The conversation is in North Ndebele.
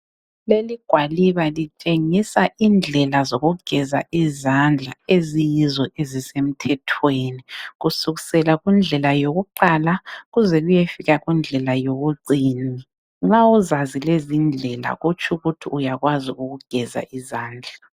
Leli gwaliba litshengisa indlela zokugeza izandla eziyizo ezisemthethweni, kusukisela kundlela yokuqala kuze kuyefika kundlela yokucina. Nxa uzazi lezindlela kutsho ukuthi uyakwazi ukugeza izandla.